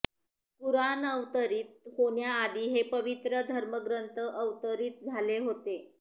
कुराण अवतरीत होण्याआधी हे पवित्र धर्मग्रंथ अवतरीत झाले होते